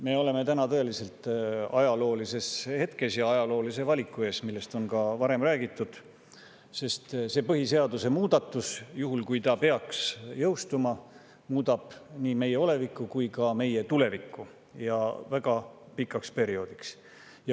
Me oleme täna tõeliselt ajaloolises hetkes ja ajaloolise valiku ees, nagu on ka varem räägitud, sest see põhiseaduse muudatus, juhul kui ta peaks jõustuma, muudab nii meie olevikku kui ka meie tulevikku, ja väga pikaks perioodiks.